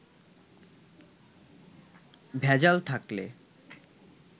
ভেজাল থাকলে